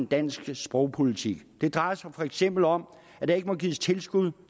dansk sprogpolitik det drejer sig for eksempel om at der ikke må gives tilskud